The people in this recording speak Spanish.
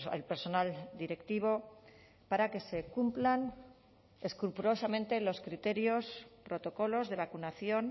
al personal directivo para que se cumplan escrupulosamente los criterios protocolos de vacunación